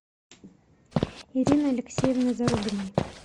ирины алексеевны зарубиной